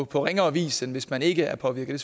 på ringere vis end hvis man ikke er påvirket